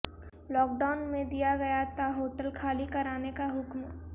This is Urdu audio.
لاک ڈائون میںدیا گیا تھا ہوٹل خالی کرانے کا حکم